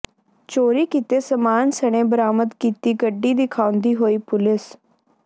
ਚੋਰੀ ਕੀਤੇ ਸਮਾਨ ਸਣੇ ਬਰਾਮਦ ਕੀਤੀ ਗੱਡੀ ਦਿਖਾੳਂੁਦੀ ਹੋਈ ਪੁਲੀਸ